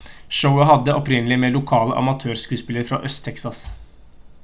showet hadde opprinnelig med lokale amatørskuespillere fra øst-texas